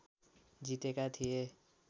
जितेका थिए